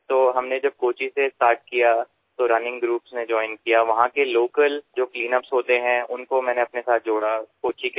যেতিয়া আমি কোচিত আৰম্ভ কৰিছিলো তেতিয়া তাৰে ৰাণিং গ্ৰুপসমূহেও আমাৰ সৈতে অংশগ্ৰহণ কৰিছিল স্থানীয় যি ক্লীনআপৰ কাম হয় তেওঁলোককো নিজৰ সৈতে জড়িত কৰিছিলো